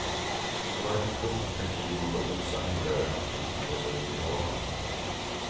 Bara ett tunt täcke jord och mossa hindrar ön från att blåsa ut i havet.